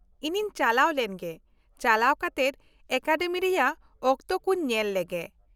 ᱤᱧᱤᱧ ᱪᱟᱞᱟᱣ ᱞᱮᱱᱜᱮ, ᱪᱟᱞᱟᱣ ᱠᱟᱛᱮᱫ ᱮᱠᱟᱰᱮᱢᱤ ᱨᱮᱭᱟᱜ ᱚᱠᱛᱚ ᱠᱚᱧ ᱧᱮᱞ ᱞᱮᱜᱮ ᱾